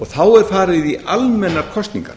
þá er farið í almennar kosningar